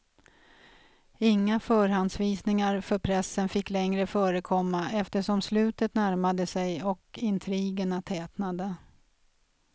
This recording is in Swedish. Inga förhandsvisningar för pressen fick längre förekomma eftersom slutet närmade sig och intrigerna tätnade.